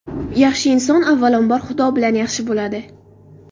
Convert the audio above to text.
Yaxshi inson avvalambor Xudo bilan yaxshi bo‘ladi.